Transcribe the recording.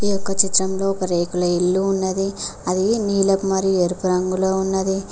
ఒక రేకుల ఇల్లు ఉన్నది అది నీలోపు మరి ఎరుపు రంగులో ఉన్నది.